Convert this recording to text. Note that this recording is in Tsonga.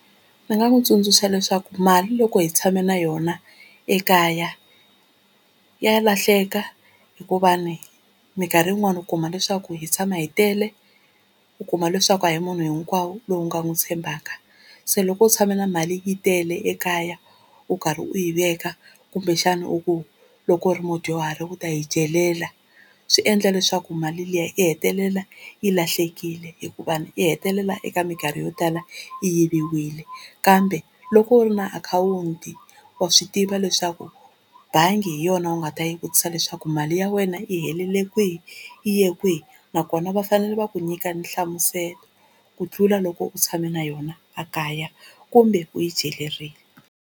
Ndzi nga n'wi tsundzuxa leswaku mali loko hi tshame na yona ekaya ya lahleka hikuva ni mikarhi yin'wani u kuma leswaku hi tshama hi tele, u kuma leswaku a hi munhu hinkwawo lowu nga n'wu tshembaka. Se loko u tshame na mali yi tele ekaya u karhi u yi veka kumbexana u ku loko u ri mudyuhari u ta yi celela swi endla leswaku mali liya yi hetelela yi lahlekile, hikuva yi hetelela eka minkarhi yo tala yi yiviwile. Kambe loko u ri na akhawunti wa swi tiva leswaku bangi hi yona u nga ta yi vutisa leswaku mali ya wena yi helile kwihi yi ye kwihi nakona va fanele va ku nyika nhlamuselo ku tlula loko u tshame na yona a kaya kumbe u yi celerile.